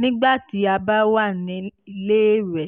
nígbà tí a bá wà níléèwé